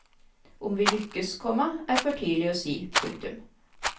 Om vi lykkes, komma er for tidlig å si. punktum